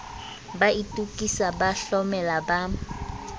ba itokisa ba hlomela ba